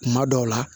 Kuma dɔw la